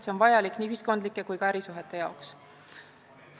See on vajalik nii ühiskondlike kui ka ärisuhete jaoks.